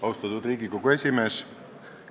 Austatud Riigikogu esimees!